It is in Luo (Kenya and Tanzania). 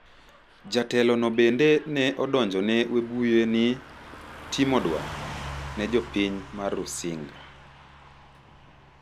Jatelono bende ne odonjone Webuye ni "timo dwar" ne jopin may Rusinga